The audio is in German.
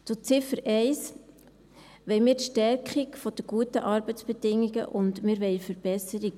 Zu Ziffer 1: Wir wollen die Stärkung der guten Arbeitsbedingungen, und wir wollen eine Verbesserung.